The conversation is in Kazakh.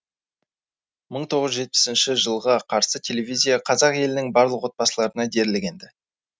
мың тоғыз жүз жетпісінші жылға қарсы телевизия қазақ елінің барлық облыстарына дерлік енді